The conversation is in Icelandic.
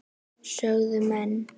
sögðu menn.